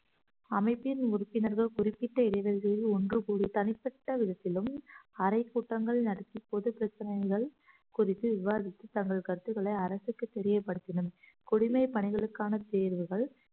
அமைப்பின் உறுப்பினர்கள் குறிப்பிட்ட இடைவேளைகளில் ஒன்று கூடி தனிப்பட்ட விதத்திலும் அறைக்கூட்டங்கள் நடத்தி பொதுப் பிரச்சினைகள் குறித்து விவாதித்து தங்கள் கருத்துக்களை அரசுக்கு தெரியப்படுத்தினர் பணிகளுக்கான தேர்வுகள்